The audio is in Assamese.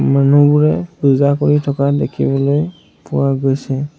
মানুহবোৰে পূজা কৰি থকা দেখিবলৈ পোৱা গৈছে।